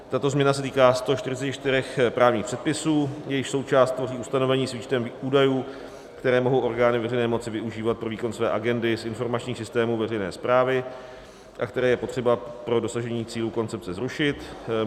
Tato změna se týká 144 právních předpisů, jejichž součást tvoří ustanovení s výčtem údajů, které mohou orgány veřejné moci využívat pro výkon své agendy z informačních systémů veřejné správy a které je potřeba pro dosažení cílů koncepce zrušit.